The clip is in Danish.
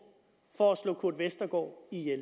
for at slå kurt westergaard ihjel